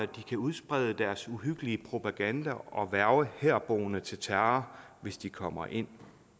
de kan udsprede deres uhyggelige propaganda og hverve herboende til terror hvis de kommer ind